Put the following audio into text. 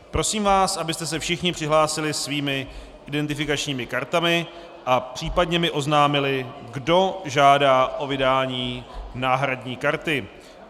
Prosím vás, abyste se všichni přihlásili svými identifikačními kartami a případně mi oznámili, kdo žádá o vydání náhradní karty.